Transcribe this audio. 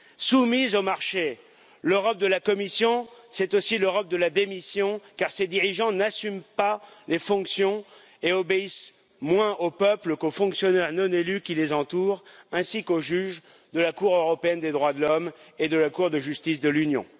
Soumise au marché, l'Europe de la Commission, c'est aussi l'Europe de la démission car ses dirigeants n'assument pas les fonctions et obéissent moins aux peuples qu'aux fonctionnaires non élus qui les entourent, ainsi qu'aux juges de la Cour européenne des droits de l'homme et de la Cour de justice de l'Union.